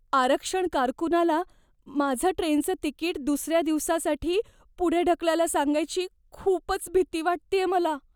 आरक्षण कारकुनाला माझं ट्रेनचं तिकीट दुसऱ्या दिवसासाठी पुढे ढकलायला सांगायची खूपच भीती वाटतेय मला.